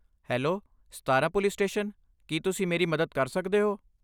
Hello, Satara police station, ਕੀ ਤੁਸੀਂ ਮੇਰੀ ਮਦਦ ਕਰ ਸਕਦੇ ਹੋ?